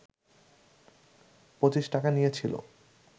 পঁচিশ টাকা নিয়েছিল